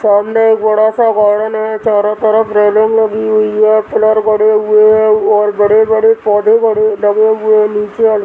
सामने एक बड़ा सा गार्डन है चारों तरफ रेलिंग लगी हुई है पिल्लर गड़े हुए हैं और बड़े-बड़े पौधे गड़े लगे हुए हैं नीचे --